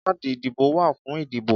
Káàdì ìdìbò wà fún ìdìbò